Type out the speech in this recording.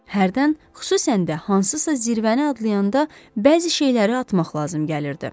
Hərdən, xüsusən də hansısa zirvəni adlayanda bəzi şeyləri atmaq lazım gəlirdi.